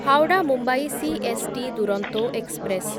Howrah Mumbai CST Duronto express